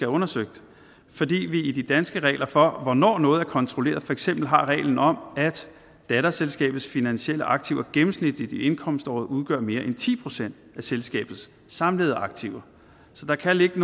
undersøgt fordi vi i de danske regler for hvornår noget er kontrolleret for eksempel har reglen om at datterselskabets finansielle aktiver gennemsnitligt i indkomståret udgør mere end ti procent af selskabets samlede aktiver så der kan ligge